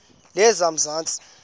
lezamanzi